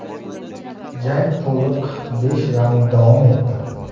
Jang to‘liq besh raund davom etdi.